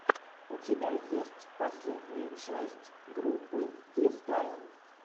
у тебя есть последняя часть группы фристайл